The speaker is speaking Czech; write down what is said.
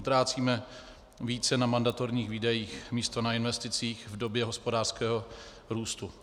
Utrácíme více na mandatorních výdajích místo na investicích v době hospodářského růstu.